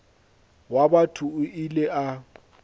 wa batho o ile a